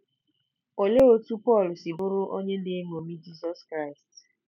Olee otú Pọl si bụrụ onye na-eṅomi Jizọs Kraịst?